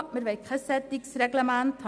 Wir wollen kein solches Reglement;